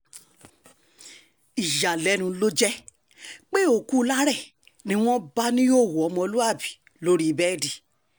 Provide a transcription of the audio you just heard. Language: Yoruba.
ìyàlẹ́nu ló jẹ́ pé òkú láre ni wọ́n bá níhòòhò ọmọlúàbí lórí bẹ́ẹ̀dì